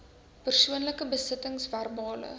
persoonlike besittings verbale